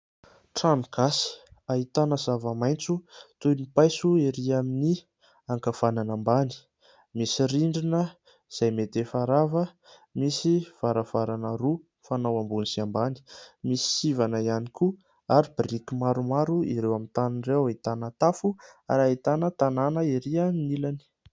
Trano gasy, ahitana zava-maitso toy ny paiso erỳ amin'ny ankavanana ambany. Misy rindrina izay mety efa rava ; misy varavarana roa mifanao ambony sy ambany. Misy sivana ihany koa ary biriky maromaro ireo amin'ny tany ireo. Ahitana tafo ; ary ahitana tanàna erỳ amin'ny ilany.